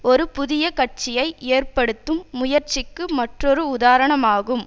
ஒரு புதிய கட்சியை ஏற்படுத்தும் முயற்சிக்கு மற்றொரு உதாரணமாகும்